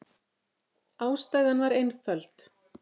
Ástæðan var einföld.